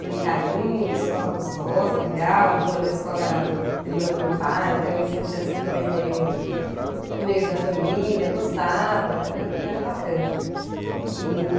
no Itaim, uma escola gostosa, legal, a dona da escola era prima do meu pai, então eu me sentia assim também meio... da família. ...meio da família, eu gostava, era era bacana. E...